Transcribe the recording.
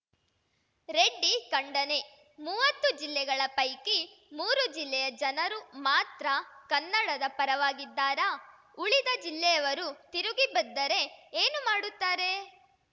ರೆಡ್ಡಿ ಖಂಡನೆ ಮುವ್ವತ್ತು ಜಿಲ್ಲೆಗಳ ಪೈಕಿ ಮೂರು ಜಿಲ್ಲೆಯ ಜನರು ಮಾತ್ರ ಕನ್ನಡದ ಪರವಾಗಿದ್ದಾರಾ ಉಳಿದ ಜಿಲ್ಲೆಯವರು ತಿರುಗಿ ಬಿದ್ದರೆ ಏನು ಮಾಡುತ್ತಾರೆ